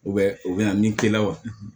U bɛ u bɛ na min k'i la wa